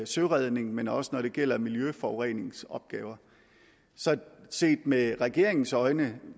søredning men også når det gælder miljøforureningsopgaver så set med regeringens øjne